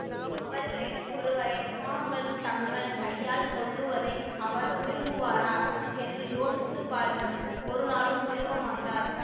அவர்களில் ஒருவரை தாங்கள் தங்கள் கையால் கொல்லுவதை அவர் விரும்புவாரா என்று யோசித்து பாருங்கள் ஒருநாளும் விரும்பமாட்டார்